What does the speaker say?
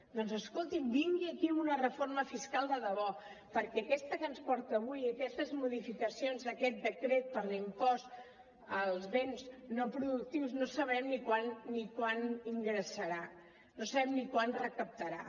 doncs escolti’m vingui aquí amb una reforma fiscal de debò perquè aquesta que ens porta avui aquestes modificacions d’aquest decret per a l’impost als béns no productius no sabem ni quant ingressarà no sabem ni quant recaptarà